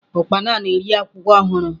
Ukpana na-eri akwụkwọ ọhụrụ.